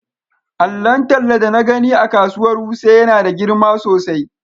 Allon talla da na gani a kasuwar wuse yana da girma sosai.